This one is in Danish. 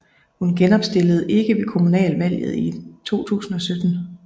Hun genopstillede ikke ved kommunalvalget i 2017